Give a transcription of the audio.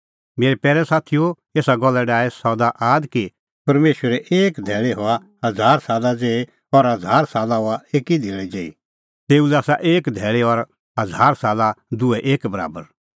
मेरै पैरै साथीओ एसा गल्ला डाहै सदा आद कि परमेशरे एक धैल़ी हआ हज़ार साला ज़ेही और हज़ार साला हआ एकी धैल़ी ज़ेही तेऊ लै आसा एक धैल़ी और हज़ार साला दुहै एक बराबर